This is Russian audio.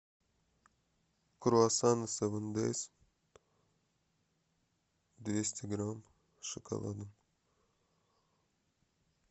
круасаны севен дейс двести грамм с шоколадом